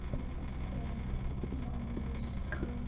जिसपर मनुष्य का --